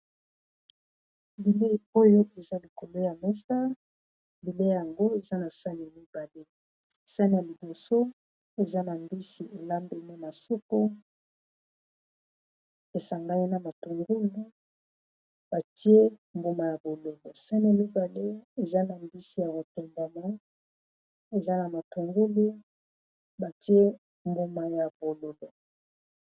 Bilei oyo eza likolo ya mesa bileyi yango eza na sani mibale sani ya liboso eza na mbisi elambema na soupu esangani na matungulu batie mbuma ya bolobo sani ya mibale eza na mbisi ya ko tumbama eza na matungulu batie mbuma ya bololo.